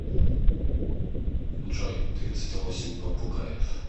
джой тридцать восемь попугаев